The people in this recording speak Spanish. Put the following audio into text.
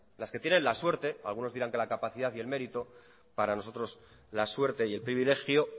las que tienen la suerte algunos dirán que la capacidad y el mérito para nosotros la suerte y el privilegio